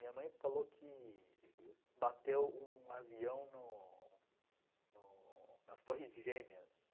Minha mãe falou que bateu um avião no no nas Torres Gêmeas.